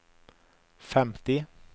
femti